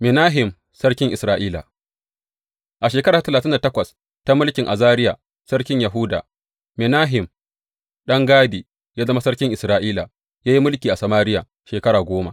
Menahem sarkin Isra’ila A shekara ta talatin da takwas ta mulkin Azariya sarkin Yahuda, Menahem ɗan Gadi ya zama sarkin Isra’ila, ya yi mulki a Samariya shekara goma.